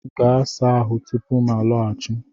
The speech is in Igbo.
Gaa saa ahụ tupu m laghachi!